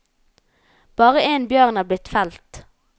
Bare én bjørn er blitt felt.